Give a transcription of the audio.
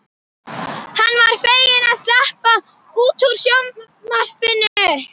Hann var feginn að sleppa út úr sviðsljósinu.